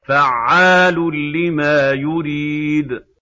فَعَّالٌ لِّمَا يُرِيدُ